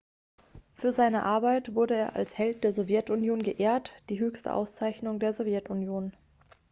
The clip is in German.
für seine arbeit wurde er als held der sowjetunion geehrt die höchste auszeichnung der sowjetunion